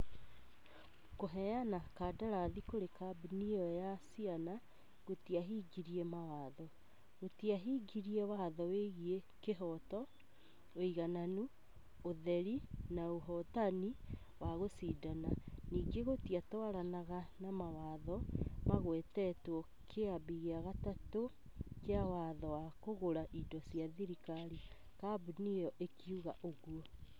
Kũheana kandarathi kũri kambuni iyo ya caina gũtiahingirie mawatho. Gũtiahingirie watho wegiĩ kĩhooto, ũigananu, ũtheri na ũhotani wa gũcindana. Ningĩ gũtiatwaranaga na mawatho magwetetwo Kĩambi gĩa gatatũ kĩa watho wa kũgũra indo cia thirikari". Kambuni ĩyo ĩkiuga ũguo.